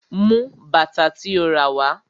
Mú bàtà tí o ràwá.